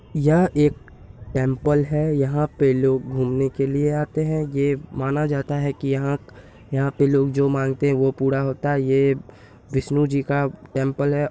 यह एक टेम्पल है। यहाँ पे लोग घूमने के लिए आते हैं। ये माना जाता है की यहाँ यहाँ पे लोग जो मांगते है वो पूरा होता है ये विष्णु जी का टेम्पल है।